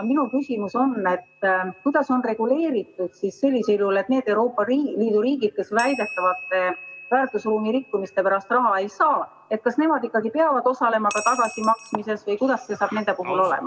Minu küsimus on, kuidas on sellisel juhul reguleeritud see, et kas need Euroopa Liidu riigid, kes väidetavate väärtusruumi rikkumiste pärast raha ei saa, ikkagi peavad ka osalema tagasimaksmises või kuidas see saab nende puhul olema.